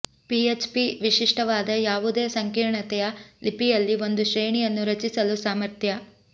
PHP ವಿಶಿಷ್ಟವಾದ ಯಾವುದೇ ಸಂಕೀರ್ಣತೆಯ ಲಿಪಿಯಲ್ಲಿ ಒಂದು ಶ್ರೇಣಿಯನ್ನು ರಚಿಸಲು ಸಾಮರ್ಥ್ಯ